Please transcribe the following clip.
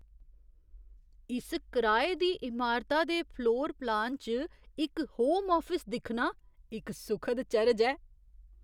इस कराए दी इमारता दे फ्लोर प्लान च इक होम आफिस दिक्खना इक सुखद चरज ऐ।